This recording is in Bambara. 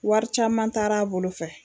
Wari caman taar'a bolo fɛ